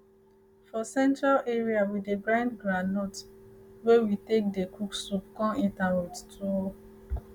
for central area we dey grind groundnut wey we take dey cook soup con eat am with tuwo